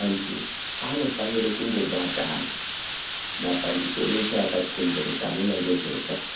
Antu anofanire kumbobatana mapandiko eshe akati komberedza anoone ngezveutano,